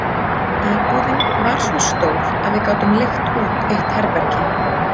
Íbúðin var svo stór að við gátum leigt út eitt herbergi.